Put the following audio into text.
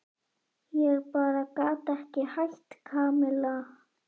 Ég bara gat ekki hætt, Kamilla.